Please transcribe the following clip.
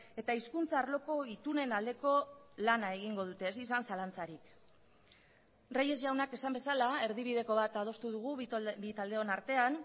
eta hizkuntza arloko itunen aldeko lana egingo dute ez izan zalantzarik reyes jaunak esan bezala erdibideko bat adostu dugu bi taldeon artean